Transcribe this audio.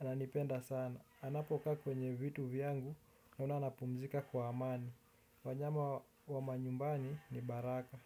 Ananipenda sana. Anapokaa kwenye vitu vyangu naona anapumzika kwa amani. Wanyama wa manyumbani ni baraka.